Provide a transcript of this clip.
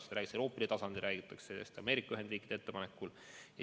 Seda räägitakse Euroopa tasandil, seda räägitakse Ameerika Ühendriikide ettepanekul.